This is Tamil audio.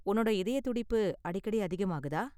உன்னோட இதய துடிப்பு அடிக்கடி அதிகமாகுதா?